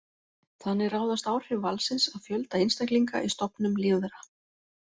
Þannig ráðast áhrif valsins af fjölda einstaklinga í stofnum lífvera.